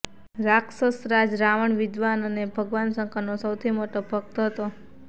રાક્ષસરાજ રાવણ વિદ્વાન અને ભગવાન શંકરનો સૌથી મોટો ભક્ત હતો